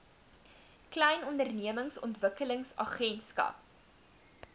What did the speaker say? klein ondernemings ontwikkelingsagentskap